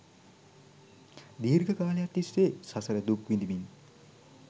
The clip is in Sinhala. දීර්ඝ කාලයක් තිස්සේ සසර දුක් විඳිමින්